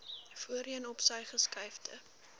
voorheen opsy geskuifde